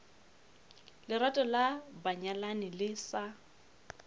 lerato la banyalani le sa